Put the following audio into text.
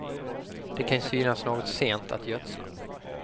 Det kan ju synas något sent att gödsla.